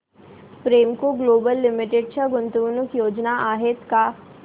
Premco Global Limited च्या गुंतवणूक योजना आहेत का